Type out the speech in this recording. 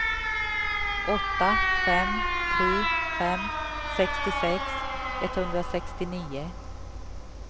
åtta fem tre fem sextiosex etthundrasextionio